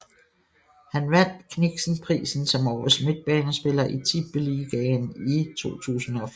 Han vandt Kniksenprisen som årets midtbanespiller i Tippeligaen i 2005